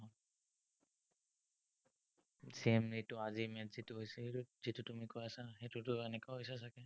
same এইটো, আজি match ত যিটো তুমি কৈ আছা, সেইটোতো এনেকুৱা হৈছে চাগে।